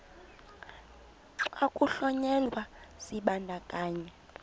xa kuhlonyelwa isibandakanyi